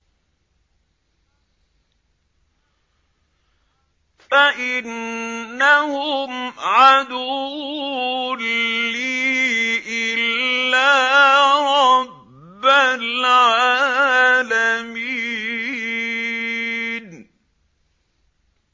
فَإِنَّهُمْ عَدُوٌّ لِّي إِلَّا رَبَّ الْعَالَمِينَ